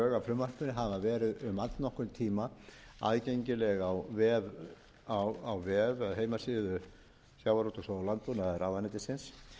frumvarpinu hafa verið um allnokkurn tíma aðgengileg á vef eða heimasíðu sjávarútvegs og landbúnaðarráðuneytisins